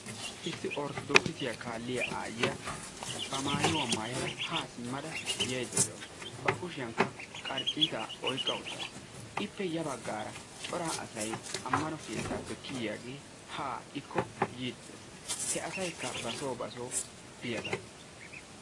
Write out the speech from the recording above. issi orttodookissiya kaaliya aayiya ba maayuwaa maayada haa yaydda de'awusu. ba kusiyankka qarciitaa oyqqa uttaasu. ippe ya bagaara cora asay amanno keettaappe haa kiyiyaagee beetees. jhe asaykka basoo basoo biyaagaa.